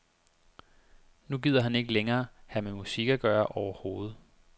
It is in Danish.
Nu gider han ikke længere have med musik at gøre overhovedet.